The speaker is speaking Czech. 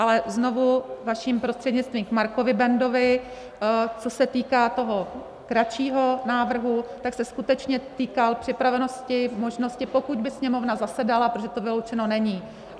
Ale znovu vaším prostřednictvím k Markovi Bendovi, co se týká toho kratšího návrhu, tak se skutečně týkal připravenosti, možnosti, pokud by Sněmovna zasedala, protože to vyloučeno není.